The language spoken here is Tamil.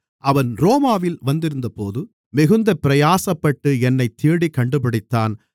அவன் ரோமாவில் வந்திருந்தபோது மிகுந்த பிரயாசப்பட்டு என்னைத் தேடிக் கண்டுபிடித்தான்